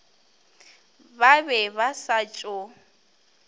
ba be ba sa tšo